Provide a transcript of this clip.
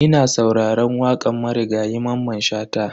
Ina sauraran wakan Marigayi Mamman Shata.